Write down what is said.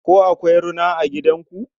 Ko akwai rina a gidanku?